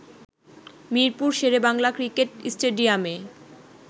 Mirpur Sher e Bangla cricket স্টেডিয়ামে